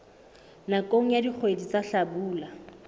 nakong ya dikgwedi tsa hlabula